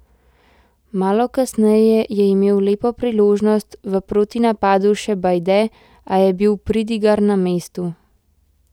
Malo kasneje je imel lepo priložnost v protinapadu še Bajde, a je bil Pridigar na mestu.